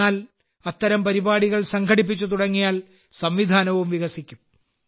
എന്നാൽ അത്തരം പരിപാടികൾ സംഘടിപ്പിച്ചു തുടങ്ങിയാൽ സംവിധാനവും വികസിക്കും